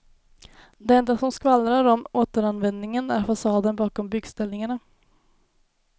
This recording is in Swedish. Det enda som skvallrar om återanvändningen är fasaden bakom byggställningarna.